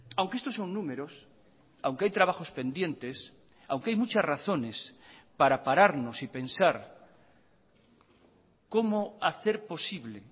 aunque estos son números aunque hay trabajos pendientes aunque hay muchas razones para pararnos y pensar cómo hacer posible